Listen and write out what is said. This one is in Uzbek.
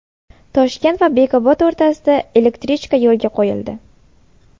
Toshkent va Bekobod o‘rtasida elektrichka yo‘lga qo‘yildi.